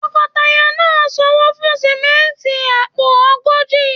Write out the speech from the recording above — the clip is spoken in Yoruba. Tọkọtaya náà sanwó fún sánmọ́ntì àpò ogójì.